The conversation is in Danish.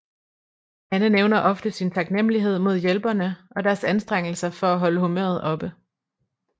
Anne nævner ofte sin taknemlighed mod hjælperne og deres anstrengelser for at holde humøret oppe